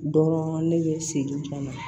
Dɔrɔn ne bɛ n sigi kuma na